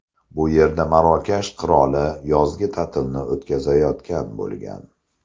Bu yerda Marokash qiroli yozgi ta’tilni o‘tkazayotgan bo‘lgan.